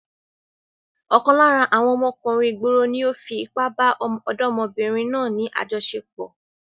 Ọ̀kan lára àwọn ọmọkùnrin ìgboro ni ó fi ipá bá ọ̀dọ́mọbìnrin náà ní àjọṣepọ̀.